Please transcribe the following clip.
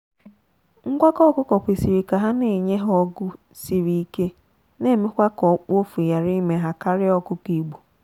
ngwakọ ọkụkọ kwesịrị ka ha na enye ha ọgụ siri ike na emekwa ka okpuofu ghara ime ha karịa ọkụkọ igbo.